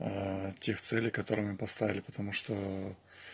тех целей которые мы поставили потому что